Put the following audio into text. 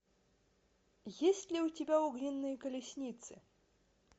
есть ли у тебя огненные колесницы